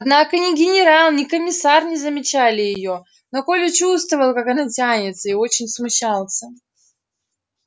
однако ни генерал ни комиссар не замечали её но коля чувствовал как она тянется и очень смущался